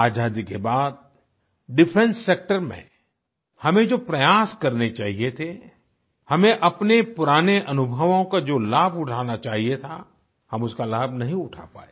आज़ादी के बाद डिफेंस सेक्टर में हमें जो प्रयास करने चाहिए थे हमें अपने पुराने अनुभवों का जो लाभ उठाना चाहिए था हम उसका लाभ नहीं उठा पाए